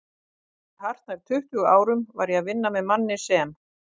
Fyrir hartnær tuttugu árum var ég að vinna með manni sem